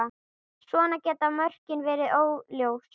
Svona geta mörkin verið óljós.